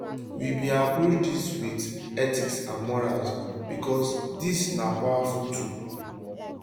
we bin approach dis wit ethics and morals becos dis na powerful tool